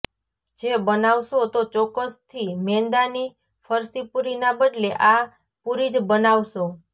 જે બનાવશો તો ચોક્કસ થી મેંદા ની ફરસી પુરી ના બદલે આ પુરી જ બનાવશો